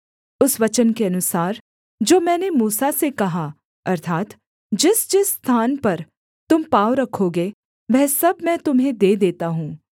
उस वचन के अनुसार जो मैंने मूसा से कहा अर्थात् जिसजिस स्थान पर तुम पाँव रखोगे वह सब मैं तुम्हें दे देता हूँ